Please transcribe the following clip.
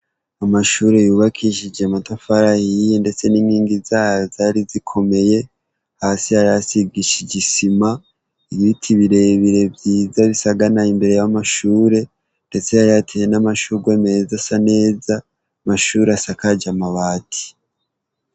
Amashure yubakishije amatafari ahiye ndetse n'inkingi zayo zari zikomeye ,hasi hari hasigishije isima ibiti birebire vyiza bisaganaye imbere y'amashure ndetse yari yateye n'amashurwe meza asa neza, amashure asakaje amabati.